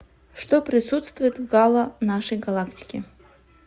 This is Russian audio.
что присутствует в гало нашей галактики